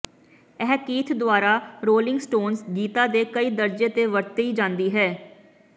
ਇਹ ਕੀਥ ਦੁਆਰਾ Rolling Stones ਗੀਤਾਂ ਦੇ ਕਈ ਦਰਜੇ ਤੇ ਵਰਤੀ ਜਾਂਦੀ ਹੈ